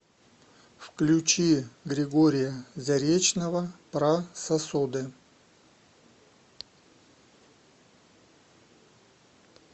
включи григория заречного про сосуды